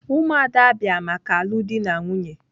Umuada bia maka alụ di na nwunye.